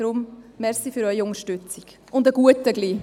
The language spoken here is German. Deshalb: Danke für Ihre Unterstützung, und bald einen guten Appetit!